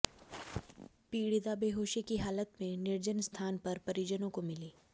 पीड़िता बेहोशी की हालत में निर्जन स्थान पर परिजनों को मिली